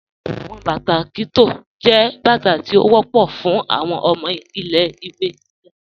Awọn bátà Kitto jẹ́ bátà tí ó wọ̀pọ̀ fún awọn ọmọ ilẹ̀-ìwé gígá.